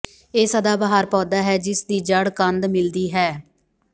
ਇਹ ਸਦਾਬਹਾਰ ਪੌਦਾ ਹੈ ਜਿਸ ਦੀ ਜੜ੍ਹ ਕੰਦ ਮਿਲਦੀ ਹੈ